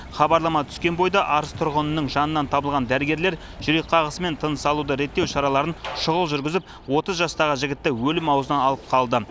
хабарлама түскен бойда арыс тұрғынының жанынан табылған дәрігерлер жүрек қағысы мен тыныс алуды реттеу шараларын шұғыл жүргізіп отыз жастағы жігітті өлім аузынан алып қалды